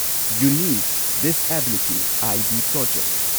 unique disability ID project